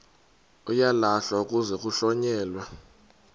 uyalahlwa kuze kuhlonyelwe